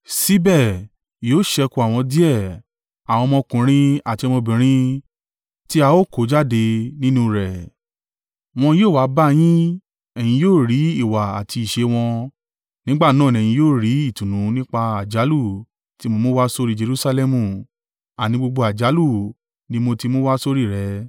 Síbẹ̀, yóò ṣẹ́kù àwọn díẹ̀, àwọn ọmọkùnrin àti ọmọbìnrin tí a ó kó jáde nínú rẹ̀. Wọn yóò wá bá yin, ẹ̀yin yóò rí ìwà àti ìṣe wọn, nígbà náà ni ẹ̀yin yóò rí ìtùnú nípa àjálù tí mo mú wá sórí Jerusalẹmu—àní gbogbo àjálù ní mo ti mú wá sórí rẹ̀.